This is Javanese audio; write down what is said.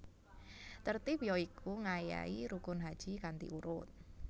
Tertib ya iku ngayahi rukun haji kanthi urut